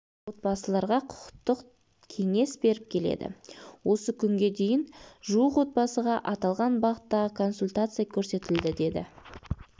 отбасыларға құқықтық кеңес беріп келеді осы күнге дейін жуық отбасыға аталған бағыттағы консультация көрсетілді деді